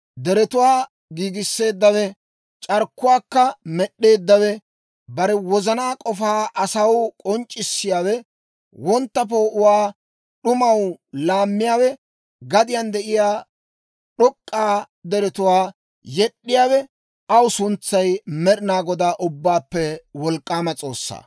Deretuwaa giigisseeddawe, c'arkkuwaakka med'd'eeddawe, bare wozanaa k'ofaa asaw k'onc'c'issiyaawe, wontta poo'uwaa d'umaw laammiyaawe, gadiyaan de'iyaa d'ok'k'a deretuwaa yed'd'iyaawe, aw suntsay Med'inaa Godaa, Ubbaappe Wolk'k'aama S'oossaa.